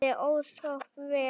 Honum liði ósköp vel.